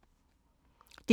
DR1